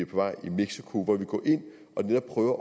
på vej i mexico hvor vi går ind og prøver